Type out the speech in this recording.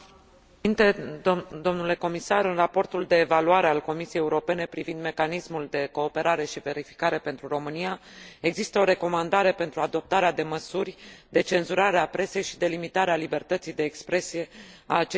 În raportul de evaluare al Comisiei Europene privind mecanismul de cooperare și verificare pentru România există o recomandare pentru adoptarea de măsuri de cenzurare a presei și de limitare a libertății de expresie a acesteia pe subiecte legate de justiție.